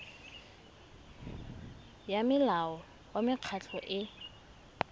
ya molao wa mekgatlho e